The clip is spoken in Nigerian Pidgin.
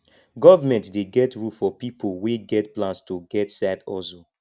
government dey get rule for pipo wey get plans to get side hustle